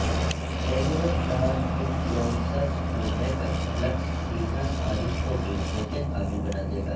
ایلیوربرانڈز influencers کو makeup looks سیدھا صارف کو بیچنے کے قابل بنا دے گا